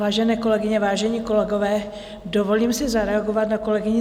Vážené kolegyně, vážení kolegové, dovolím si zareagovat na kolegyni